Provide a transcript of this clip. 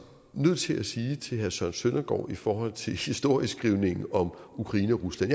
nødt til at sige til herre søren søndergaard i forhold til historieskrivningen og ukraine og rusland